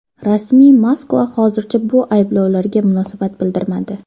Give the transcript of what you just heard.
Rasmiy Moskva hozircha bu ayblovlarga munosabat bildirmadi.